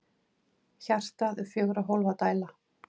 Hjartað er fjögurra hólfa dæla.